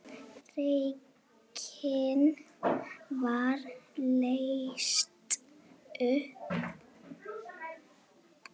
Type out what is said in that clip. Reglan var leyst upp.